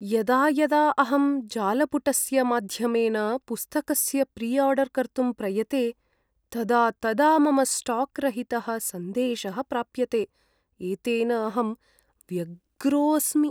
यदा यदा अहं जालपुटस्य माध्यमेन पुस्तकस्य प्रिआर्डर् कर्तुं प्रयते, तदा तदा मम स्टाक् रहितः सन्देशः प्राप्यते, एतेन अहं व्यग्रोस्मि।